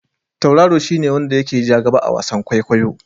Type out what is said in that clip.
Tauraro shi ne wanda ya ke ja gaba a wasan kwaikwayo.